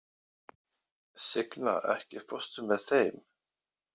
Signa, ekki fórstu með þeim?